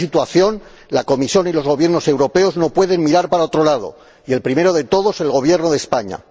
Ante esta situación, la Comisión y los Gobiernos europeos no pueden mirar para otro lado y el primero de todos el Gobierno de España.